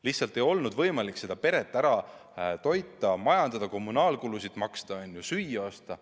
Lihtsalt ei olnud võimalik peret ära toita, majandada, kommunaalkulusid maksta, süüa osta.